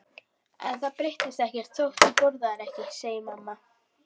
En það breytist ekkert þótt þú borðir ekki, segir mamma.